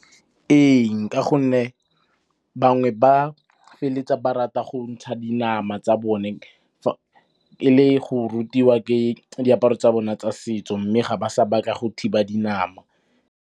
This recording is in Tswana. Ee, nka gonne bangwe ba feleletsa ba rata go ntsha dinama tsa bone le go rutiwa ke diaparo tsa bona tsa setso mme ga ba sa batla go thiba dinama.